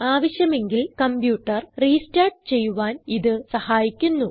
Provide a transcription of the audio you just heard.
ആവശ്യമെങ്കിൽ computer restart ചെയ്യുവാൻ ഇത് സഹായിക്കുന്നു